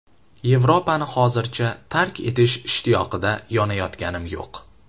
Yevropani hozircha tark etish ishtiyoqida yonayotganim yo‘q.